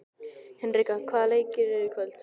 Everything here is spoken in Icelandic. Hinrikka, hvaða leikir eru í kvöld?